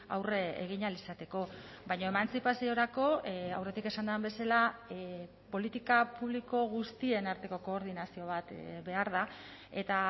aurre egin ahal izateko baina emantzipaziorako aurretik esan den bezala politika publiko guztien arteko koordinazio bat behar da eta